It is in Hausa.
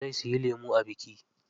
Zai siyi lemu a biki.